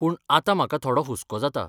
पूण आतां म्हाका थोडो हुस्को जाता.